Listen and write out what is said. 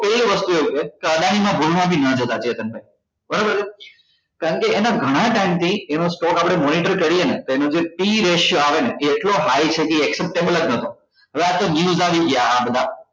તો એ રસ્તો છે કે અદાણી માં ભૂલ માં બી નાં જતા ચેતન ભાઈ બરોબર છે કારણ કે એના ગણા time થી એનો stock આપડે monitor કરીએ ને તો એનો Pratio આવે ને એ એટલો high છે ને એ acceptable જ નથી હવે આતો news આવી ગયા આ બધા